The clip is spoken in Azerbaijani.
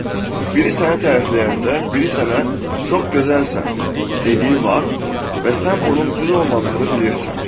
Məsələn, biri səni tərifləyəndə, biri sənə çox gözəlsən dediyi vaxt və sən bunun düz olmadığını bilirsən.